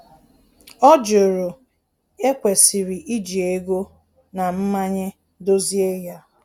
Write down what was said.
Ọ jụrụ e kwesịrị iji ego na mmanye dozie ya